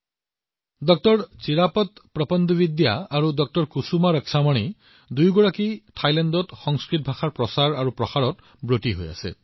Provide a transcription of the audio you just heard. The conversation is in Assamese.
থাইলেণ্ডত সংস্কৃত ভাষাৰ প্ৰচাৰত ড০ চিৰাপত প্ৰপণ্ডবিদ্যা আৰু ড০ কুসুমা ৰক্ষামণি দুয়োজনে অতি গুৰুত্বপূৰ্ণ ভূমিকা পালন কৰি আছে